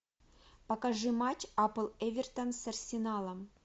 покажи матч апл эвертон с арсеналом